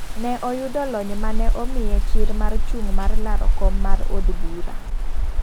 Ne oyudo lony mane omiye chir mar chung mar laro kom mar od bura.